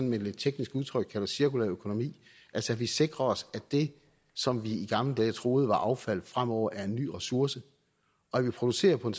med et lidt teknisk udtryk kalder cirkulær økonomi altså at vi sikrer os at det som vi i gamle dage troede var affald fremover er en ny ressource og at vi producerer på en